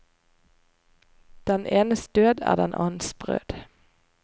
Den enes død er den annens brød.